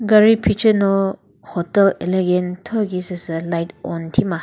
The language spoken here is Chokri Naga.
gari phiceno hotel elegant thokhi süsü light on thima.